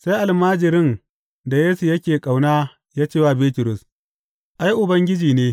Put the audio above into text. Sai almajirin da Yesu yake ƙauna ya ce wa Bitrus, Ai, Ubangiji ne!